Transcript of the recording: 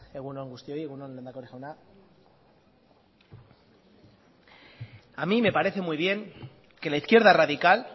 egun on guztioi egun on lehendakari jauna a mí me parece muy bien que la izquierda radical